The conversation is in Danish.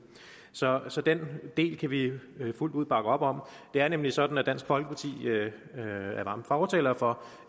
så så den del kan vi fuldt ud bakke op om det er nemlig sådan at dansk folkeparti er varme fortalere for